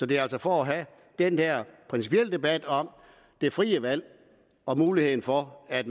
det er altså for at have den der principielle debat om det frie valg og muligheden for at